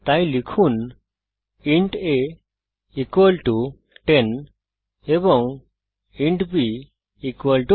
তাই লিখুন int a 10 এবং ইন্ট b 5